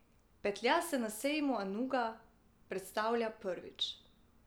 Petlja se na sejmu Anuga predstavlja prvič.